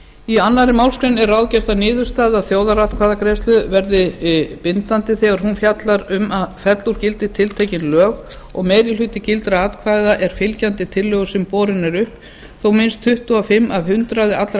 í annarri málsgrein er ráðgert að niðurstaða þjóðaratkvæðagreiðslu verði bindandi þegar hún fjallar um að fella úr gildi tiltekin lög og meiri hluti gildra atkvæða er fylgjandi tillögu sem borin er upp þó minnst tuttugu og fimm af hundraði allra